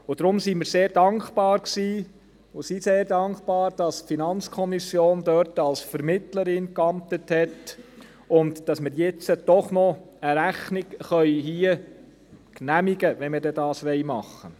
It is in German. Deshalb waren und sind wir sehr dankbar, dass die FiKo dort als Vermittlerin geamtet hat und dass wir jetzt doch noch eine Rechnung genehmigen können, wenn wir das dann tun wollen.